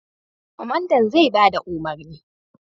Kwamandan zai ba da umarni.